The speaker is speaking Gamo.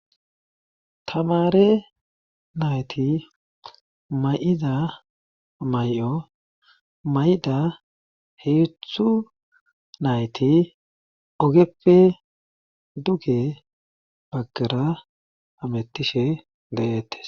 tamare nayti may7ida may7o may7ida heethu nayti ogeppe duge baggera hamettishe de7ettes